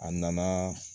A nana